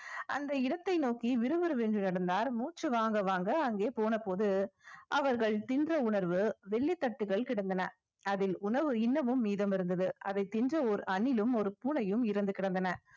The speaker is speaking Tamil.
அந்த இடத்தை நோக்கி விறுவிறுவென்று நடந்தார் மூச்சு வாங்க வாங்க அங்கே போனபோது அவர்கள் தின்ற உணவு வெள்ளி தட்டுகள் கிடந்தன அதில் உணவு இன்னமும் மீதம் இருந்தது அதை தின்ற ஒரு அணிலும் ஒரு பூனையும் இறந்து கிடந்தன